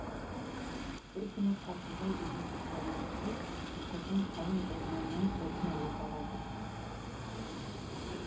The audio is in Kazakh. бір күні қасымбай деген ұстамен бірге мұқырдың қалың орманынан отын алуға барады